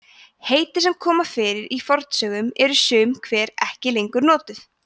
heiti sem koma fyrir í fornsögum eru sum hver ekki lengur notuð